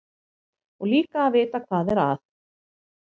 Og líka að vita hvað er að.